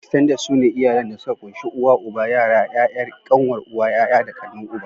"Extended" sune iyalan da suka kunshi uwa, uba, yara, yayar/kanwar uwa, yaya da kanin uba.